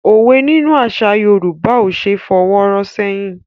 Òwe nínú àṣà Yorùbá ò ṣé fọwọ́ rọ́ ṣẹ́yìn.